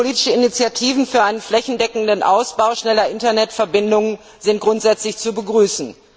Politische Initiativen für einen flächendeckenden Ausbau schneller Internetverbindungen sind grundsätzlich zu begrüßen.